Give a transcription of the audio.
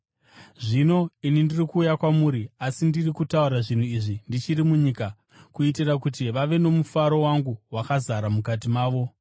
“Zvino ini ndiri kuuya kwamuri, asi ndiri kutaura zvinhu izvi ndichiri munyika, kuitira kuti vave nomufaro wangu wakazara mukati mavo.